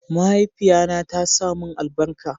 mahaifiya na ta sa mun albarka